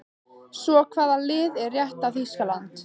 Svo hvaða lið er rétta Þýskaland?